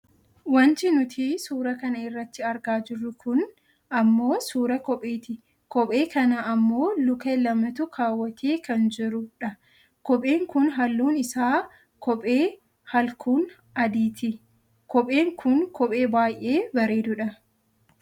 Wanti nuti suuraa kana irratti argaa jirru kun ammoo suuraa kopheeti. Kophee kana ammoo luka namatu kaawwatee kan jirudha. Kopheen kun halluun isaa kophee halkuun adiiti. Kopheen kun kophee baayyee bareedudha.